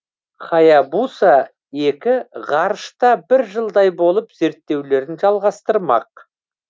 хаябуса екі ғарышта бір жылдай болып зерттеулерін жалғастырмақ